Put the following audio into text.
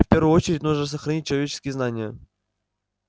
в первую очередь нужно сохранить человеческие знания